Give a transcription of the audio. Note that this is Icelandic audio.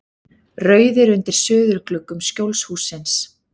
Rauðir undir suðurgluggum Skjólshússins.